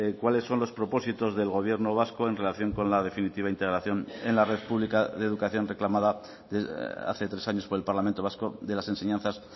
cuáles son los propósitos del gobierno vasco en relación con la definitiva integración en la red pública de educación reclamada hace tres años por el parlamento vasco de las enseñanzas